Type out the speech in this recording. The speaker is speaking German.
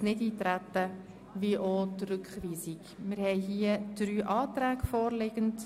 Ich frage vorab den Präsidenten der FiKo, ob er mit seinem Grundsatzvotum starten möchte.